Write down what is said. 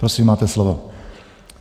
Prosím, máte slovo.